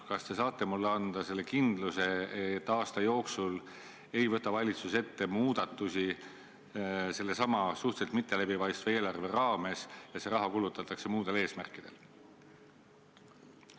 Kas te saate mulle anda kindluse, et aasta jooksul ei võta valitsus ette muudatusi sellesama suhteliselt mitteläbipaistva eelarve raames ja see raha kulutatakse muudel eesmärkidel?